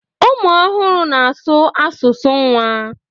ụmụ ọhụrụ na-asụ asụsụ nwa